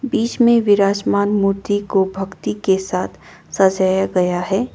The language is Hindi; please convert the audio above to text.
बीच में विराजमान मूर्ति को भक्ति के साथ सजाया गया है।